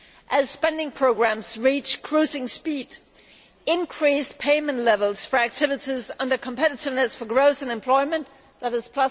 As spending programmes reach cruising speed, increased payment levels for activities under the heading Competitiveness for Growth and Employment, that is